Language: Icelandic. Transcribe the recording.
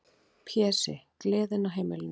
Pési, gleðin á heimilinu.